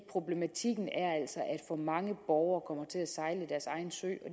problematikken er altså at for mange borgere kommer til at sejle deres egen sø og